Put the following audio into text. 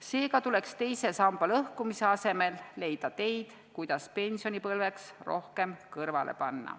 Seega tuleks teise samba lõhkumise asemel leida teid, kuidas pensionipõlveks rohkem kõrvale panna.